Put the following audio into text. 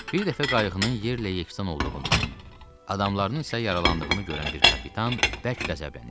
Bir dəfə qayığının yerlə yeksan olduğunu, adamlarının isə yaralandığını görən bir kapitan bərk qəzəblənir.